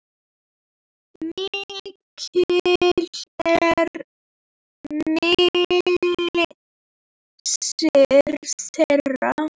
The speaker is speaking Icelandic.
Mikill er missir þeirra.